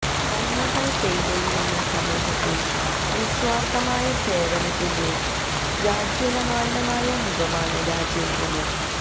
നന്മകള് പെയ്തൊഴിയുന്ന സമൂഹത്തില് നിസ്വാര്ത്ഥമായ സേവനത്തിന്റെ ജാജ്വല്യമാനമായ മുഖമാണ് രാജേന്ദ്രന്